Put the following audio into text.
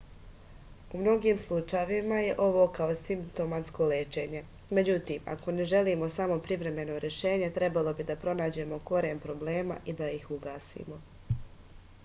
u mnogim slučajevima je ovo kao simptomatsko lečenje međutim ako ne želimo samo privremeno rešenje trebalo bi da pronađemo koren problema i da ih ugasimo